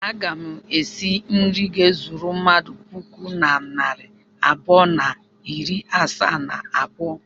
Aga m esi nri ga-ezuru mmadụ puku na narị abụọ na iri asaa na abụọ.